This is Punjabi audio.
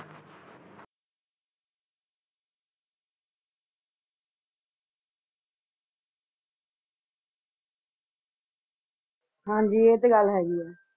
ਹਨ ਜੀ ਆਏ ਤੇ ਗੱਲ ਹੈਗੀ ਆ